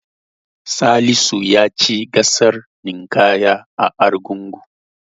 Salisu ya ci gasar ninƙayar a Argungu.